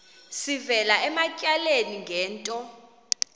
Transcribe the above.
sivela ematyaleni ngento